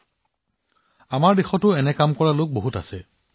আমাৰ দেশতো বহুতো মানুহে এনে মনোভাৱৰ সৈতে কাম কৰি আছে